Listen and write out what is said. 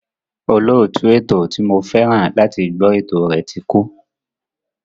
Olóòtú ètò ti mo fẹ́ràn láti gbọ́ ètò rẹ̀ ti kú.